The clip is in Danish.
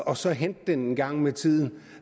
og så hente den engang med tiden